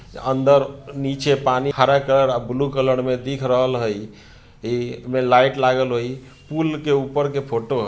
अंदर नीचे पानी हरा कलर अ ब्लू कलर में दिख रहल हइ इ में लाइट लागल हइ पूल के ऊपर के फोटो --